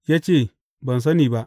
Ya ce, Ban sani ba.